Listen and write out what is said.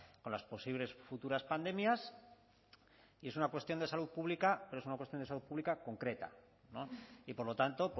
con las posibles futuras pandemias y es una cuestión de salud pública pero es una cuestión de salud pública concreta y por lo tanto